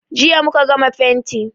Jiya muka gama fenti.